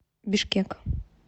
бишкек